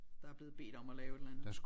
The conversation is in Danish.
Der er blevet bedt om at lave et eller andet